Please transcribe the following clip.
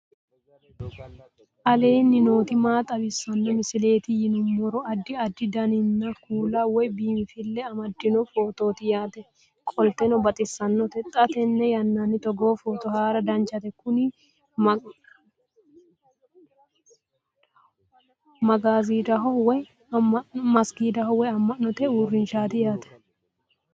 aleenni nooti maa xawisanno misileeti yinummoro addi addi dananna kuula woy biinfille amaddino footooti yaate qoltenno baxissannote xa tenne yannanni togoo footo haara danchate kuni mazigiidaho woy amma'note uurrinshshaati yaate